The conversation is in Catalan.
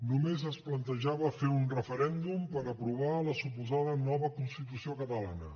només es plantejava fer un referèndum per aprovar la suposada nova constitució catalana